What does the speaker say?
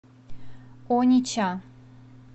онича